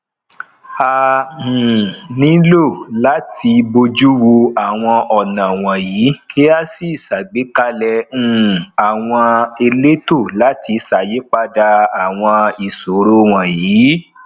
a um nílò láti bojuwò àwọn ọnà wọnyi kí a si ṣàgbékalẹ um àwọn eleto láti ṣàyípadà àwọn ìṣòro wọnyii